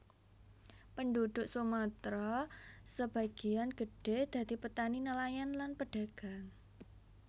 Penduduk Sumatra sabagéan gedhé dadi petani nelayan lan pedagang